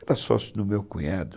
Era sócio do meu cunhado.